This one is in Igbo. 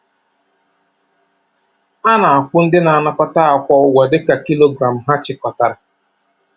A na-akwụ ndị na-anakọta akwa ụgwọ dị ka kilogram ha chịkọtara.